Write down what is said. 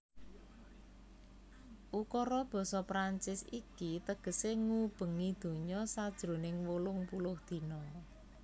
Ukara basa Prancis iki tegesé Ngubengi Donya sajroning wolung puluh Dina